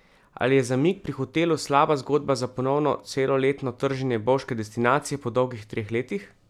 Ali je zamik pri hotelu slaba zgodba za ponovno celoletno trženje bovške destinacije po dolgih treh letih?